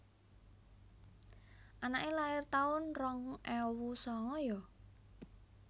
Anake lair taun rong ewu sanga yo?